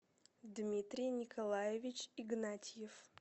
дмитрий николаевич игнатьев